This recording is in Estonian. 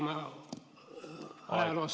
Aeg!